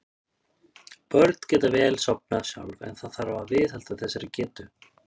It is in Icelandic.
Börn geta vel sofnað sjálf en það þarf að viðhalda þessari getu.